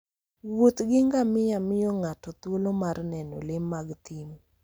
Wuoth gi ngamia miyo ng'ato thuolo mar neno le mag thim.